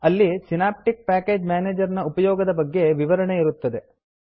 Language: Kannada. ಅಲ್ಲಿ ಸಿನಾಪ್ಟಿಕ್ ಪ್ಯಾಕೇಜ್ ಮೇನೇಜರ್ ನ ಉಪಯೋಗದ ಬಗ್ಗೆ ವಿವರಣೆ ಇರುತ್ತದೆ